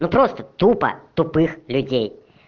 ну просто тупо тупых людей